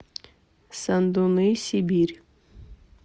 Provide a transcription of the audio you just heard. сандуны сибирь